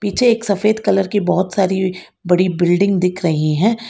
पीछे एक सफेद कलर की बहौत सारी बड़ी बिल्डिंग दिख रही हैं।